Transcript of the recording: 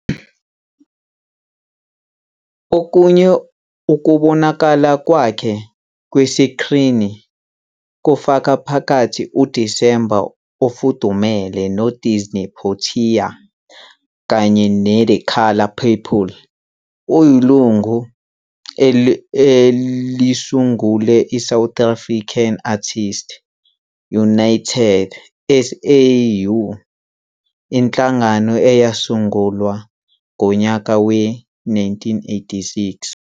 Okunye ukubonakala kwakhe kwesikrini kufaka phakathi uDisemba ofudumele noSidney Pottier kanye ne-The Colour Purple. Uyilungu elisungule iSouth African Artists United, SAAU, inhlangano eyasungulwa ngonyaka we-1986.